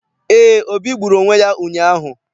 Eé, Obi gburu onwe ya ụnyaahụ.